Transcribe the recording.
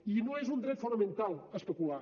i no és un dret fonamental especular